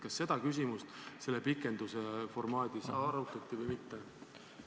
Kas seda küsimust selle pikenduse formaadis arutati või mitte?